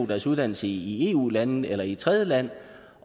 deres uddannelse i eu land eller i et tredjeland